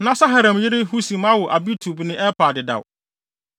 Na Saharaim yere Husim awo Abitub ne Elpaal dedaw.